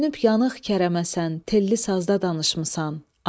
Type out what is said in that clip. Dönüb yanıq kərəməsən, telli sazda danışmısan.